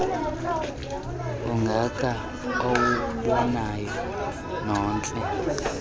ungaka uwubonayo nontle